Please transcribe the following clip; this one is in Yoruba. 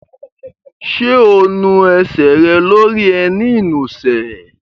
Ṣé o nu ẹsẹ̀ rẹ lórí ẹní ìnusẹ̀?